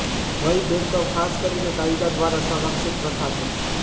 વય ભેદભાવ ખાસ કરીને કાયદા દ્વારા સંરક્ષિત પ્રથા છે